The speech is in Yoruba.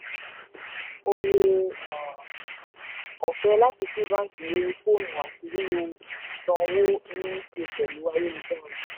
ore um ọ̀fẹ́ láti sí báńkì lórí fóònù àti lílo sàn owó ni ṣe pẹ̀lú ayélujára